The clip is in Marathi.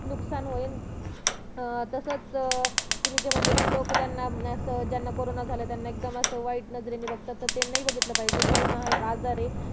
नुकसान होईल अं तसंच अं तुम्ही जे म्हंटले कि लोकं त्यांना असं ज्यांना करोंना झाला ये त्यांना एकदम असं खुप वाईट नजरे नि बघतात तसं नाही बघितलं पाहिजे कारण करोंना हा एक आजार ये